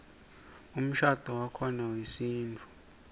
umshadvo wakhona wesintfu